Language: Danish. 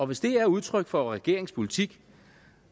hvis det er udtryk for regeringens politik